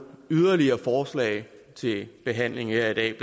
yderligere forslag til behandling her i dag